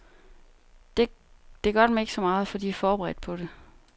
Det gør dem ikke så meget, for de er forberedt på det.